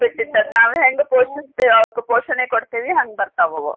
ಬಿಟ್ಟಿದ್ ಅದ್ ನಾವ್ ಹೆಂಗ್ ಪೋಷಿಸ್ತೀವಿ ಅವ್ಕ್ ಪೋಷಣೆ ಕೊಡ್ತೀವಿ ಹಂಗ್ ಬರ್ತಾವ್ ಅವು.